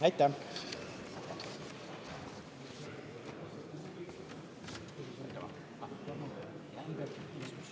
Aitäh!